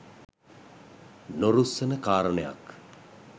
නොරුස්සන කාරණයක්